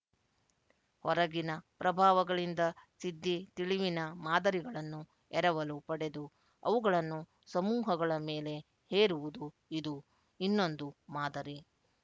ಹೊರಗಿನ ಪ್ರಭಾವಗಳಿಂದ ಸಿದ್ಧಿ ತಿಳಿವಿನ ಮಾದರಿಗಳನ್ನು ಎರವಲು ಪಡೆದು ಅವುಗಳನ್ನು ಸಮೂಹಗಳ ಮೇಲೆ ಹೇರುವುದು ಇದು ಇನ್ನೊಂದು ಮಾದರಿ